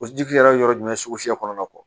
O ji yɛrɛ ye yɔrɔ jumɛn kɔnɔna